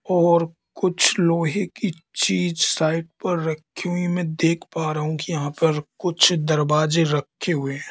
और कुछ लोहे की चीज साइट पर रखी हुई में देख पा रहा हूं कि यहां पर कुछ दरवाजे रखे हुए--